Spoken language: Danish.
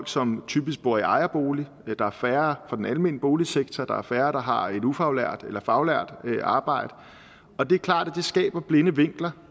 som typisk bor i ejerbolig der er færre fra den almene boligsektor der er færre der har et ufaglært eller faglært arbejde og det er klart at det skaber blinde vinkler